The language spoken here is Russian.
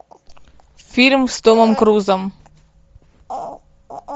фильм с томом крузом